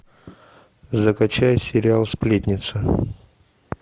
закачай сериал сплетница